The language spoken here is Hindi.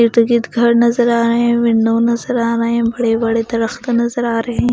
इर्द गिर्द घर नज़र आ रहे हैं विंडो नज़र आ रहे हैं बड़े बड़े दरखत नज़र आ रहे हैं।